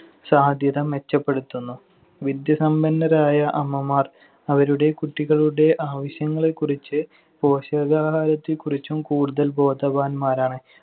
സാധ്യത മെച്ചപ്പെടുത്തുന്നു. വിദ്യാസമ്പന്നരായ അമ്മമാർ അവരുടെ കുട്ടികളുടെ ആവശ്യങ്ങളെക്കുറിച്ച് പോഷകാഹാരത്തെക്കുറിച്ചും കൂടുതൽ ബോധവാന്മാരാണ്.